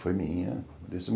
Foi minha.